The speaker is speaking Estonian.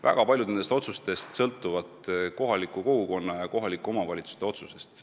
Väga paljud sel teemal langetatavad otsused sõltuvad kohaliku kogukonna, kohalike omavalitsuste otsusest.